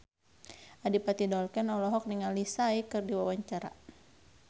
Adipati Dolken olohok ningali Psy keur diwawancara